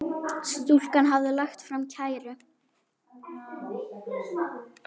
Stúlkan hafði lagt fram kæru.